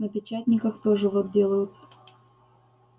на печатниках тоже вот делают